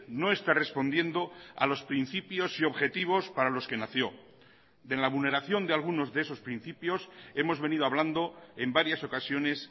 no está respondiendo a los principios y objetivos para los que nació de la vulneración de algunos de esos principios hemos venido hablando en varias ocasiones